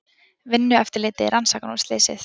Vinnueftirlitið rannsakar nú slysið